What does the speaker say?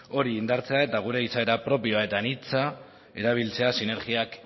hori indartzea eta gure izaera propioa eta anitza erabiltzea sinergiak